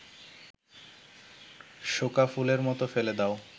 শোঁকা ফুলের মতো ফেলে দাও